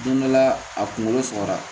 Don dɔ la a kunkolo sɔgɔra